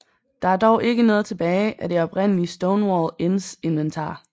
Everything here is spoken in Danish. Der er dog ikke noget tilbage af det oprindelige Stonewall Inns inventar